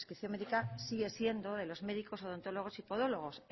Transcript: prescripción médica sigue siendo de los médicos odontólogos y podólogos